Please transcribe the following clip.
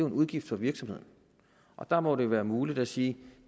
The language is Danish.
en udgift for virksomheden og der må det være muligt at sige at